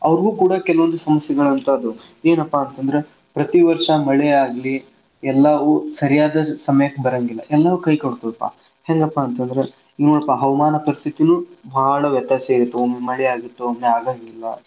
ಕೂಡಾ ಕೆಲವೊಂದ್ ಸಮಸ್ಯೆಗಳ ಇರ್ತಾವ್ರಿ ಏನಪ್ಪಾ ಅಂತಂದ್ರ ಪ್ರತಿ ವರ್ಷಾ ಮಳೆ ಆಗ್ಲಿ ಎಲ್ಲಾವು ಸರಿಯಾದ ಸಮಯಕ್ಕೆ ಬರುವಂಗಿಲ್ಲ ಎಲ್ಲವು ಕೈ ಕೊಡತಿರ್ತಾವ ಹೆಂಗಪ್ಪಾ ಅಂತಂದ್ರ ನೋಡಪ್ಪ ಆ ಹವಾಮಾನ ಪರಿಸ್ಥಿತೀನು ಬಾಳ್ ವ್ಯತ್ಯಾಸ ಐತಿ ಒಮ್ಮಿ ಮಳಿ ಆಗಿತ್ತು ಒಮ್ಮಿ ಆಗಾಂಗಿಲ್ಲ.